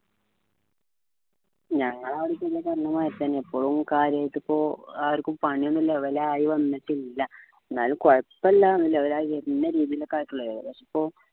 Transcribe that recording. ഞങ്ങള അവിടെ ഇപ്പോ പറഞ്ഞ മാതിരി തന്നെ ഇപ്പോഴും കാര്യായിട്ട് ഇപ്പൊ ആർക്കും പണിയൊന്നും level ആയി വന്നിട്ടില്ല എന്നാലും കുഴപ്പില്ല level ആയി വരുന്ന രീതിയിൽ ഒക്കെ ആയിട്ടേ ഇള്ളു ഏകദേശം ഇപ്പൊ